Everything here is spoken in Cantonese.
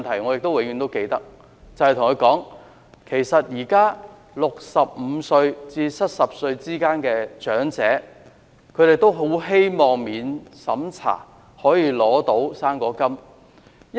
我永遠都記得我對她說，現時65歲至70歲之間的長者，都很希望可以免審查領取"生果金"。